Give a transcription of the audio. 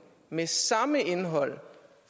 med samme indhold